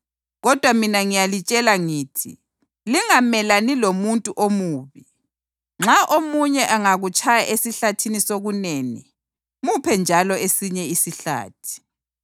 Kodwa mina ngiyalitshela ngithi, lingamelani lomuntu omubi. Nxa omunye angakutshaya esihlathini sokunene, muphe njalo esinye isihlathi.